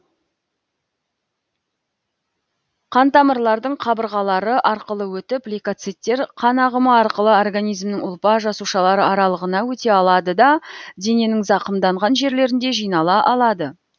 қан тамырладың қабырғалары арқылы өтіп лейкоциттер қан ағымы арқылы организмнің ұлпа жасушалар аралығына өте алады да дененің зақымданған жерлерінде жинала алады